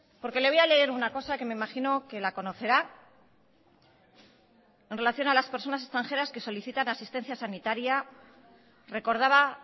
porque le voy a leer una cosa que me imagino que la conocerá en relación a las personas extranjeras que solicitan asistencia sanitaria recordaba